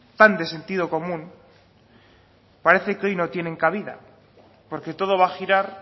tan de sentido común parece que hoy no tienen cabida porque todo va a girar